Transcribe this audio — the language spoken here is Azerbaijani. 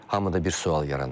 Hamıda bir sual yaranır.